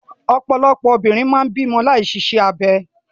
Ọ̀pọ̀lọpọ̀ obìnrin máa ń bímọ láì ṣiṣẹ́ abẹ.